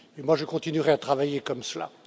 Je continuerai à travailler comme cela.